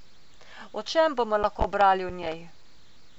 O čem bomo lahko brali v njej?